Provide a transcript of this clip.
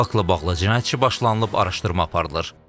Faktla bağlı cinayət işi başlanılıb araşdırma aparılır.